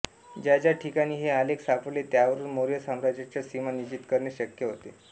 ज्या ज्या ठिकाणी हे आलेख सापडले त्यावरुन मौर्य साम्राज्याच्या सीमा निश्चित करणे शक्य होते